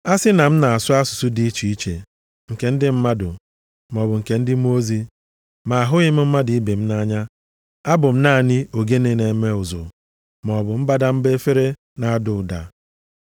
A sị na m na-asụ asụsụ dị iche iche nke ndị mmadụ maọbụ nke ndị mmụọ ozi, ma ahụghị m mmadụ ibe m nʼanya, abụ m naanị ogene na-eme ụzụ maọbụ mbadamba efere na-ada ụda.